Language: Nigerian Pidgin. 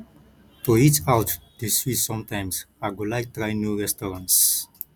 to eat out dey sweet sometimes i go like try new restaurants